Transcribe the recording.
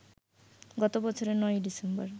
গত বছরের ৯ই ডিসেম্বর